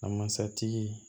A masatigi